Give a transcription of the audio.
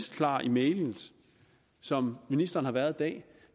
klar i mælet som ministeren har været i dag